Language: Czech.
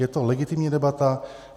Je to legitimní debata.